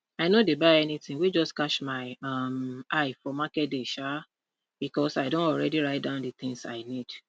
i no dey buy anything wey just catch my um eye for market day um because i don already write down the things i need